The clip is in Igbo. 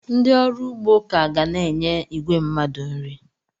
Ndị ọrụ ugbo ka ga na-enye igwe mmadụ nri.